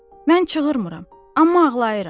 Mən çığırmıram, amma ağlayıram.